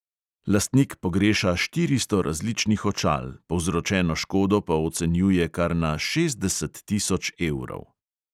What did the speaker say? Lastnik pogreša štiristo različnih očal, povzročeno škodo pa ocenjuje kar na šestdeset tisoč evrov!